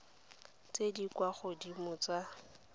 tse di kwa godimo tsa